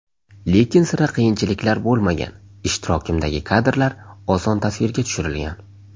Lekin sira qiyinchiliklar bo‘lmagan, ishtirokimdagi kadrlar oson tasvirga tushirilgan.